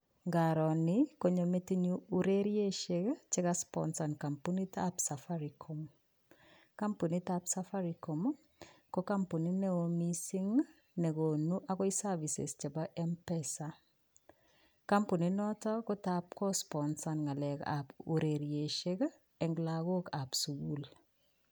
Ngaro ni konyo metinyu ureriesiek che kasponsan kampunitab Safaricom, kampunitab Safaricom ii, ko kampunit ne oo mising ne konu akoi services chebo m-pesa, kampuni noto ko tab ko sponsan ngalekab ureriesiek eng lagokab sukul.